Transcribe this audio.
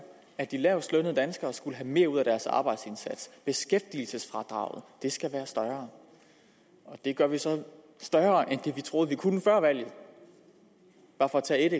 at de lavestlønnede danskere skulle have mere ud af deres arbejdsindsats beskæftigelsesfradraget skulle være større det gør vi så større end det vi troede vi kunne før valget bare for at tage et